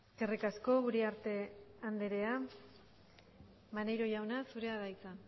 eskerrik asko uriarte andrea maneiro jauna zurea da hitza